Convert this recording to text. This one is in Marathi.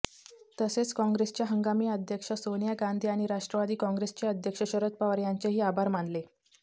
तसेच काँग्रेसच्या हंगामी अध्यक्षा सोनिया गांधी आणि राष्ट्रवादी काँग्रेसचे अध्यक्ष शरद पवार यांचेही आभार मानले